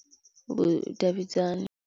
Mbo davhidzana.